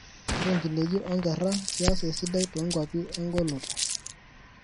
Ore ngineji o ngera kias esidai tonkwapi engoloto.